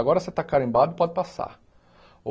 Agora você está carimbado pode passar.